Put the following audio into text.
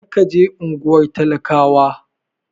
Kar ka je unguwar talakawa!